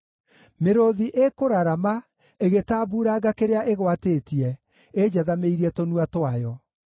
Mĩrũũthi ĩkũrarama, ĩgĩtambuuranga kĩrĩa ĩgwatĩtie, ĩnjathamĩirie tũnua twayo.